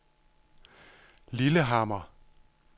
Lillehammer